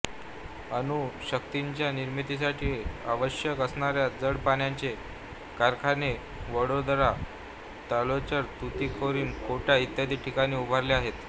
अणुशक्तीच्या निर्मितीसाठी आवश्यक असणाऱ्या जड पाण्याचे कारखाने वडोदरा ताल्चेर तुतीकोरीन कोटा इत्यादी ठिकाणी उभारले आहेत